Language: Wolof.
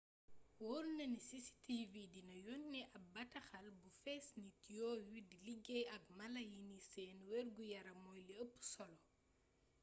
woor na ni cctv dina yónnee ab bataaxal bu fees nit yooyu di liggéey ak mala yi ni seen wergu-yaram moy li eup solo